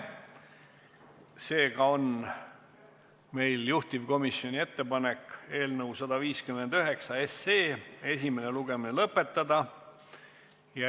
Seega on meil juhtivkomisjoni ettepanek eelnõu 159 esimene lugemine lõpetada.